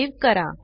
save करा